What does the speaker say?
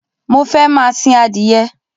Mo fẹ́ máa sìn adìyẹ